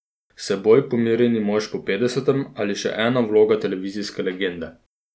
S seboj pomirjeni mož po petdesetem ali še ena vloga televizijske legende?